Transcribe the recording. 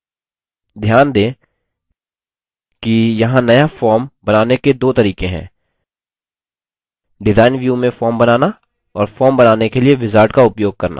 ध्यान दें कि यहाँ नया form बनाने के दो तरीके हैं डिजाइन व्यू में form बनाना और form बनाने के लिए wizard का उपयोग करना